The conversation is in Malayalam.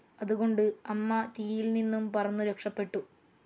അതുകൊണ്ട് അമ്മ തീയിൽ നിന്നും പറന്നു രക്ഷപെടു.